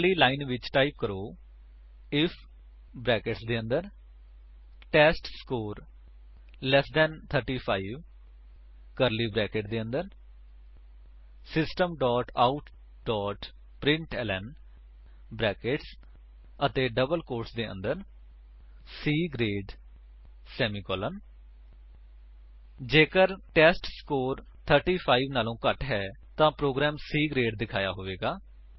ਅਗਲੀ ਲਾਈਨ ਵਿੱਚ ਟਾਈਪ ਕਰੋ ਆਈਐਫ ਬਰੈਕੇਟਸ ਦੇ ਅੰਦਰ test score less than 35 curly brackets ਦੇ ਅੰਦਰ system dot out dot println brackets ਅਤੇ ਡਬਲ ਕੋਟਸ ਦੇ ਅੰਦਰ C ਗਰੇਡ ਸੇਮੀਕੋਲਨ ਜੇਕਰ ਟੈਸਟਸਕੋਰ 35 ਵਲੋਂ ਘੱਟ ਹੈ ਤਾਂ ਪ੍ਰੋਗਰਾਮ C ਗਰੇਡ ਦਿਖਾਇਆ ਹੋਇਆ ਹੋਵੇਗਾ